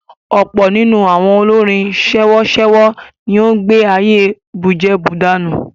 Ọ̀pọ̀ nínú àwọn olórin sèwọ́sèwọ́ ni ó ń gbé ayé bùjẹbùdànù.